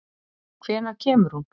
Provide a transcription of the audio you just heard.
Hvenær kemur hún?